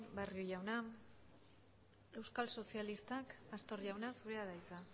barrio jauna euskal sozialistak pastor jauna zurea da hitza